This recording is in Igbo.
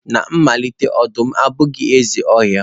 Na mmalite, ọdụm abụghị eze ọhịa.